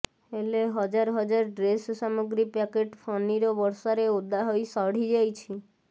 ହେଲେ ହଜାର ହଜାର ଡ୍ରେସ ସାମଗ୍ରୀ ପ୍ୟାକେଟ ଫନିର ବର୍ଷାରେ ଓଦା ହୋଇ ସଢିଯାଇଛି